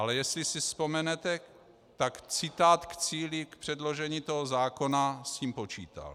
Ale jestli si vzpomenete, tak citát k cíli k předložení toho zákona s tím počítal.